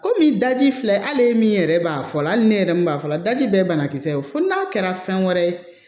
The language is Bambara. Komi daji filɛ hali min yɛrɛ b'a fɔlɔ hali ni ne yɛrɛ min b'a fɔla daji bɛɛ ye banakisɛ ye fo n'a kɛra fɛn wɛrɛ ye